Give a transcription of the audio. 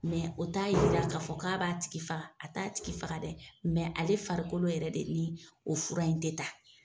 o t'a yira k'a fɔ k'a b'a tigi faga, a t'a tigi faga dɛ ale farikolo yɛrɛ de ni, o fura in tɛ ta.